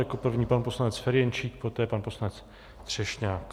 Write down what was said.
Jako první pan poslanec Ferjenčík, poté pan poslanec Třešňák.